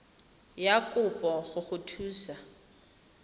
ya kopo go go thusa